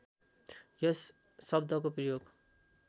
यस शब्दको प्रयोग